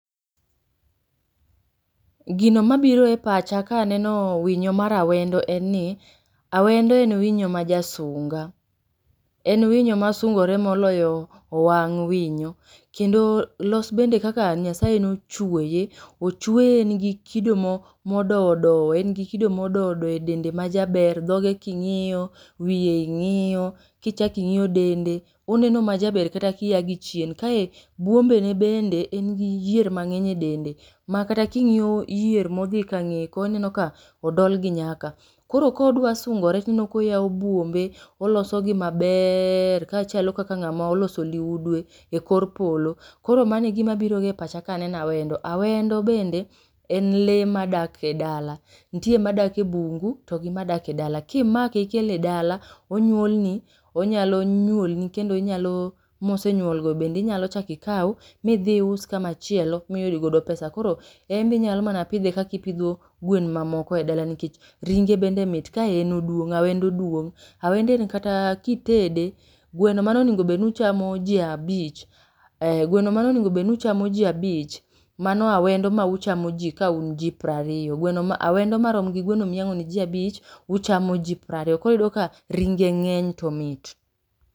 Gino mabiro epacha kaneno winyo mar awendo enni, awendo en winyo majasunga. En winyo masungore moloyo owang' winyo. Kendo los bende kaka Nyasaye nochueye. Ochueye nigi kido mo modowo dowo engi gi kido modowo dowo edende majaber dhoge king'yo ,wiye ing'iyo, kichako ing'iyo dende oneno majaber kata kiagi chien kae buombene bende engi gi yier mang'eny edende makata king'iyo yier modhi kang'eye koni ineka odolgi nyaka. Koro kodwa sungore tineno koyawo buombe olosogi mabeeer kachalo kaka ng'amo oloso liudwe ekor polo. Koro mano egima biro epachaga kaneno awendo. Awendo bende en lee madak edala. Nitie madake ebungu togi madake edala. Kimake ikele edala onyuolni onyalo nyuolni kendo inyalo mosenyuolgo bende inyalo chaki ikaw midhii us kama chielo miyud godo pesa. Koro enbe inyalo mana pidhe kaka ipidho gwen mamoko edalni nikech ringe bende mit kaen oduong. Awendo duong'.Awendo en kataa kitede gweno mane onengo bedni uchamo jii abich ee gweno mane onengo bedni uchmo ji abich mano awendo ma uchamo ji kaun jiprariyo gweno ma awendo maromgi gweno miyango'ne ji abich uchamo ji prariyo koro iyudoka ringe ng'eny tomit.